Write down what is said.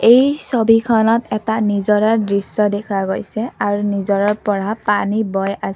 এই ছবিখনত এটা নিজৰাৰ দৃশ্য দেখা গৈছে আৰু নিজৰাৰ পৰা পানী বৈ আছ--